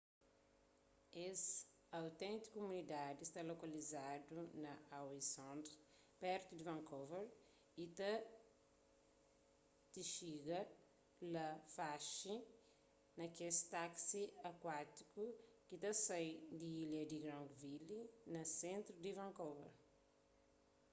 es auténtiku kumunidadi sta lokalizadu na howe sound pertu di vancouver y ta tixiga la faxi na kes taksi akuátikus ki ta sai di ilha di granville na sentru di vancouver